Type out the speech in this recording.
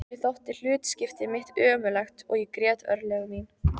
Mér þótti hlutskipti mitt ömurlegt og ég grét örlög mín.